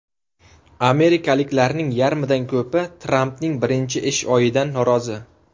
Amerikaliklarning yarmidan ko‘pi Trampning birinchi ish oyidan norozi.